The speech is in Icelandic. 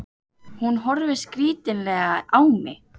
Hún horfir skrítilega á mig.